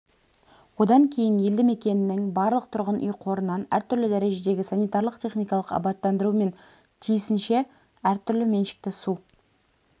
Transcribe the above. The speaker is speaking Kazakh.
одан кейін елді мекеннің барлық тұрғын үй қорынан әртүрлі дәрежедегі санитарлық-техникалық абаттандыру мен тиісінше әртүрлі меншікті су